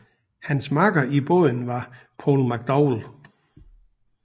Hans makker i båden var Paul McDowell